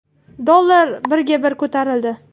Dollar birga bir ko‘tarildi.